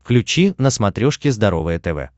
включи на смотрешке здоровое тв